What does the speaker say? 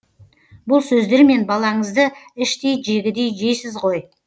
бұл сөздермен балаңызды іштей жегідей жейсіз ғой